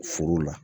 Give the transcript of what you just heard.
Furu la